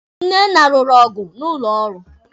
Nnenna lụrụ ọgụ n'ụlọ ọrụ.